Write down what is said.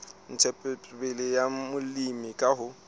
ntshetsopele ya molemi ke ho